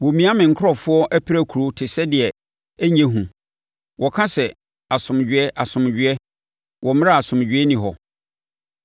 Wɔmia me nkurɔfoɔ apirakuro te sɛ deɛ ɛnyɛ hu. Wɔka sɛ, ‘Asomdwoeɛ, asomdwoeɛ’ wɔ mmerɛ a asomdwoeɛ nni hɔ.